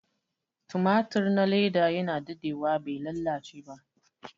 tumatur na leda yana dade wa bai lalace ba